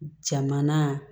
Jamana